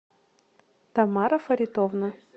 тамара фаритовна